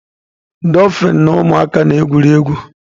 Dofin na ụmụaka na-egwuri egwu